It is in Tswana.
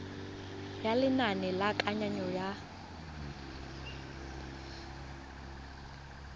ya lenane la kananyo ya